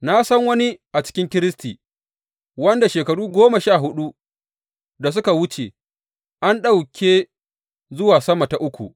Na san wani a cikin Kiristi wanda shekaru goma sha huɗu da suka wuce an ɗauke zuwa sama ta uku.